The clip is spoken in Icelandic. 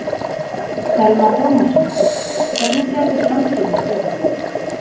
Telma Tómasson: Hvernig sérðu framtíðina fyrir þér?